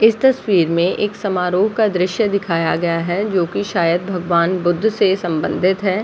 इस तस्वीर में एक समारोह का दृश्य दिखाया गया है जो कि शायद भगवान् बुद्ध से सम्बंधित है ।